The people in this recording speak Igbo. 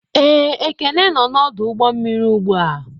Ee, Ekene nọ n'ọdụ ụgbọ mmiri ugbu a.